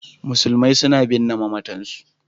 Musulmi suna binne mamatansu.